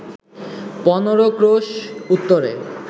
১৫ ক্রোশ উত্তরে